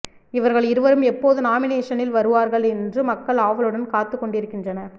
இவர்கள் இருவரும் எப்போது நாமினேஷனில் வருவார்கள் என்று மக்கள் ஆவலுடன் காத்துக் கொண்டிருக்கின்றனர்